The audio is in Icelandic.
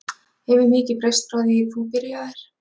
Hefur mikið breyst frá því þú byrjaðir?